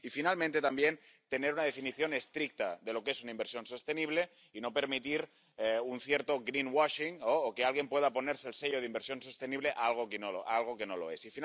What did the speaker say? En tercer lugar, también, tener una definición estricta de lo que es una inversión sostenible y no permitir un cierto greenwashing o que alguien pueda ponerle el sello de inversión sostenible a algo que no lo es.